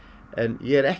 en ég er ekki